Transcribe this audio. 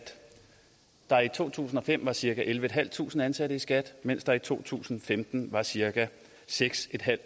der i to tusind og fem var cirka ellevetusinde ansatte i skat mens der i to tusind og femten var cirka seks